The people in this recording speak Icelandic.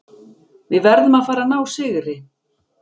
Við verðum að fara að ná sigri.